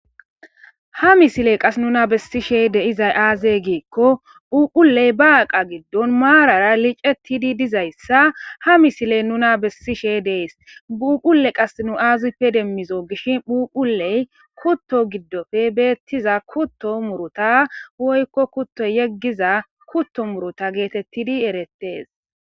ha misile qas nuna bessishe deizay aazey giikko phuphuley baaqa giddon maarara licettidi dizayssa ha misiley nuna bessishe dees bhuphule qas nu aazippe demmizo gishin phuquley kutto giddofe beettiza kutto muruta woykko kutto yeggiza kutto muruta geetettidi erettees